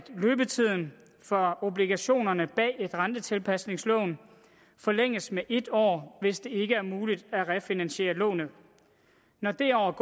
løbetiden for obligationerne bag et rentetilpasningslån forlænges med en år hvis det ikke er muligt at refinansiere lånet når det år